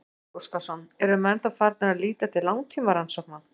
Gísli Óskarsson: Eru menn þá farnir að líta til langtímarannsókna?